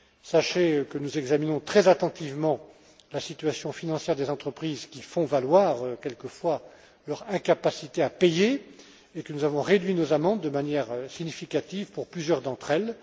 Sachez que nous examinons très attentivement la situation financière des entreprises qui font valoir quelquefois leur incapacité à payer et que nous avons réduit nos amendes de manière significative pour plusieurs d'entre elles.